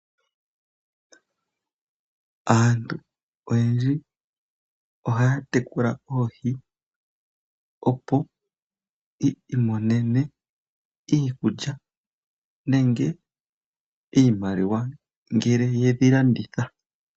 Aantu oyendji ohaya tekula oohi opo yi imonene iikulya nenge iimaliwa ngele ye dhi landitha.